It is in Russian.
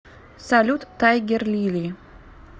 салют тайгерлили